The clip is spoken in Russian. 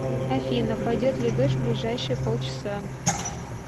афина пойдет ли дождь в ближайшие пол часа